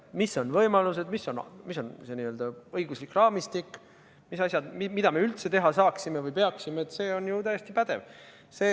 Millised on võimalused, mis on see õiguslik raamistik, mis on asjad, mida me teha saaksime või tegema peaksime – see on ju täiesti pädev.